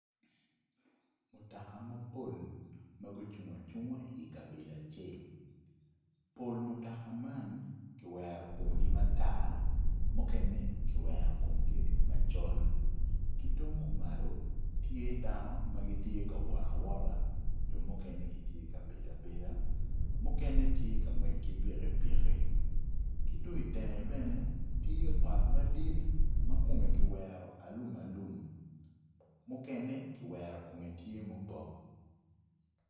Mutoka mapol ma gucung acunga ikabedo acel pol mutoka man kiwero komgi matar mukene kiwero komgi macol ki tung kumalo tyte dano ma gitye kawot awota jo mukene gittye kabedo abeda mukene tye kangwec ki piki piki ki tung itenge bene tye ot madit ma kome kiwero alum alum mukene kiwero kome tye mubok